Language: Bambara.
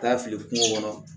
Taa fili kungo kɔnɔ